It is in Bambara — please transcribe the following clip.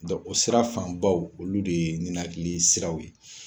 o sira fan baw olu de ye ninakili siraw ye.